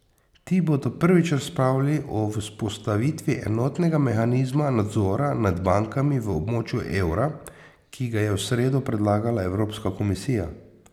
Ti bodo prvič razpravljali o vzpostavitvi enotnega mehanizma nadzora nad bankami v območju evra, ki ga je v sredo predlagala Evropska komisija.